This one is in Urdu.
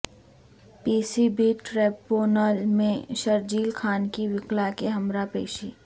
پی سی بی ٹریبونل میں شرجیل خان کی وکلا کے ہمراہ پیشی